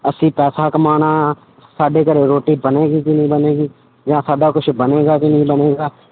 ਅਸੀਂ ਪੈਸਾ ਕਮਾਉਣਾ ਆਂ, ਸਾਡੇ ਘਰੇ ਰੋਟੀ ਬਣੇਗੀ ਕਿ ਨਹੀਂ ਬਣੇਗੀ, ਜਾਂ ਸਾਡਾ ਕੁਛ ਬਣੇਗਾ ਕਿ ਨਹੀਂ ਬਣੇਗਾ।